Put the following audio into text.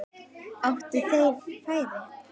Áttu þeir færi?